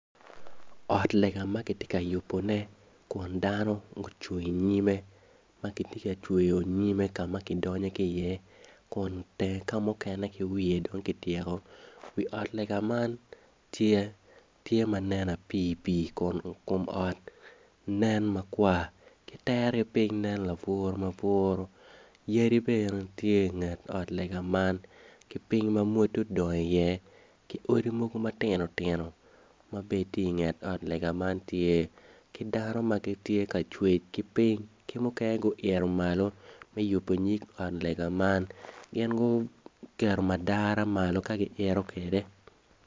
Ot lega ma kitye ka yubone kun dano gucung i nyime ma gitye ka cweyo nyim kama kidonyo ki iye kun teng kamukenene ki wiye dong kityeko. Wi ot lega man tye manen pii pii kun ot nen makwar ki itere yung piny nen laburu maburu yadi bene tye inget ot lega man ki piny ma mwoto odongo i iye ki odi mogo matinotino ma bene tye inget ot lega man tye ki dano ma gitye ka cwec ki oiny ki mukene guito malo me yubo nyim ot lega man gin guketo madara malo ka gi ito kwede.